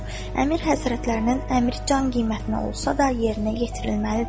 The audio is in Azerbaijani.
Əmir həzrətlərinin əmr can qiymətinə olsa da yerinə yetirilməlidir.